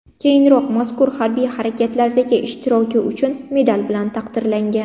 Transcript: Keyinroq mazkur harbiy harakatlardagi ishtiroki uchun medal bilan taqdirlangan.